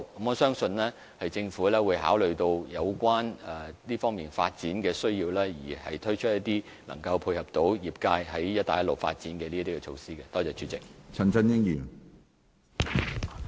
我相信政府會考慮這方面的發展需要，推出一些可以配合業界發展"一帶一路"市場的措施。